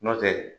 N'o tɛ